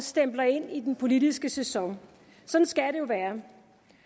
stempler ind i den politiske sæson sådan skal det jo være